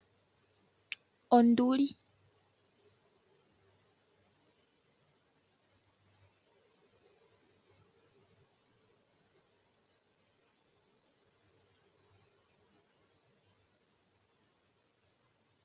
Onduli. Onduli oyo oshinamwenyo shoongolo oonde nothingo onde opo shilye omafo pombanda yomiti.